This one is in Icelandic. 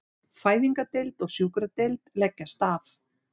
Fæðingardeild og sjúkradeild leggjast af